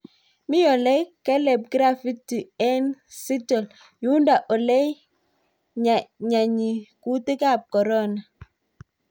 Me ole keleb gravity eng Seattle , yundo ole nyaany kutik ab korona